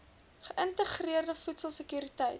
geïntegreerde voedsel sekuriteit